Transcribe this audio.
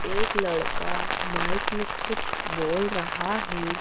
एक लड़का माइक में कुछ बोल रहा है।